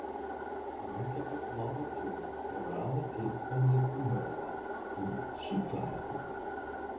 Á undanförnum áratugum hefur af og til komið upp umræða um sýklahernað.